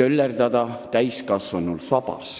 töllerdab täiskasvanul sabas?